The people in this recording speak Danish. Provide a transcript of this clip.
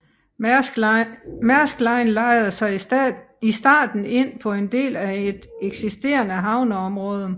Maersk Line lejede sig i starten ind på en del af et eksisterende havneområde